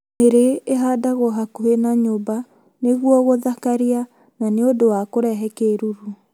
Nĩrĩ ĩhandagwo hakuhĩ na nyumba nĩcio gũthakaria na nĩ ũndũ wa kũrehe kĩruru.